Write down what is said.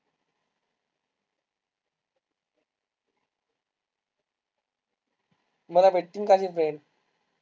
मला भेटतील का ते friend